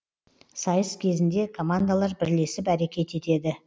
сайыс кезінде командалар бірлесіп әрекет етеді